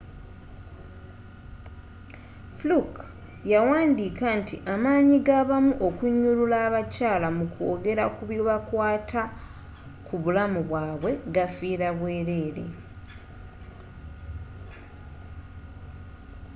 fluke yawandiika nti amaanyi gabamu okunyulula abakyaala mukwogela kubikwaata kubulamubwaabwe gabafiira bwerere